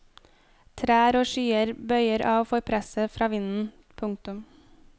Trær og skyer bøyer av for presset fra vinden. punktum